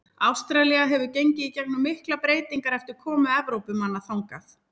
Ástralía hefur gengið í gegnum miklar breytingar eftir komu Evrópumanna þangað.